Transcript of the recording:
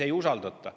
Ei usaldata.